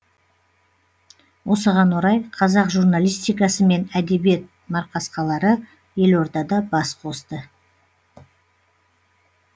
осыған орай қазақ журналистикасы мен әдебиет марқасқалары елордада бас қосты